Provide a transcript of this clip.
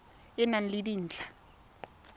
e e nang le dintlha